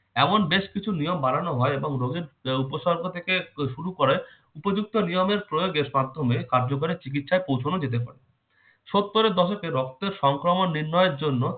এমন বেশ কিছু নিয়ম বানানো হয় এবং রোগের উপসর্গ থেকে শুরু করে উপযুক্ত নিয়মের প্রয়োগের মার্ধমে কার্যকারী চিকিৎসায় পৌঁছানো যেতে হয় সত্তর এর দশকে রক্তের সংক্রমণ নির্ণয়ের জন্য